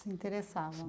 Se interessava.